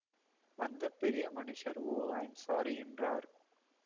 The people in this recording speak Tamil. வந்த பெரிய மனுஷர் ஓ ஐ ஆம் ஸாரி என்றார்